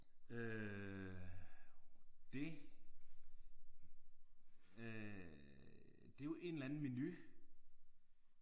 Øh det øh det er jo en eller anden menu